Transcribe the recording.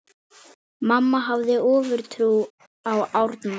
Mamma hafði ofurtrú á Árna.